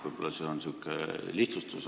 Võib-olla on see lihtsustus.